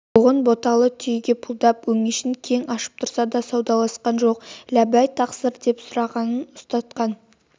боғын боталы түйеге пұлдап өңешін кең ашып тұрса да саудаласқан жоқ ләббәй тақсыр деп сұрағанын ұстатқан